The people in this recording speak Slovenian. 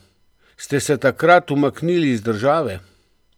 Ste se takrat umaknili iz države?